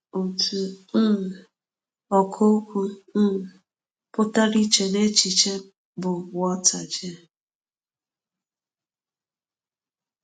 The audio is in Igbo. Otu um ọkà okwu um pụtara ìche n’echiche m bụ Walter J.